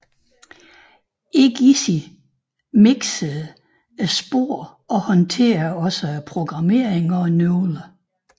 Egizii mixede sporet og håndtere også programmering og nøgler